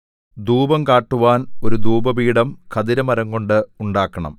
ധൂപം കാട്ടുവാൻ ഒരു ധൂപപീഠം ഖദിരമരംകൊണ്ട് ഉണ്ടാക്കണം